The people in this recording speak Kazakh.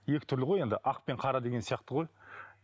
екі түрлі ғой енді ақ пен қара деген сияқты ғой